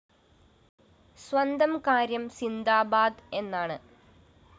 സ്വന്തം കാര്യം സിന്ദാബാദ് എന്നാണ്